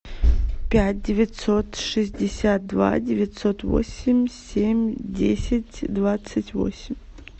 пять девятьсот шестьдесят два девятьсот восемь семь десять двадцать восемь